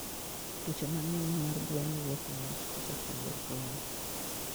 twuoche mangeny mar gwen wok niwach koso chanjo gwen